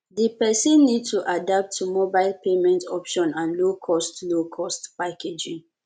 di person need to adapt to mobile payment option and low cost low cost packaging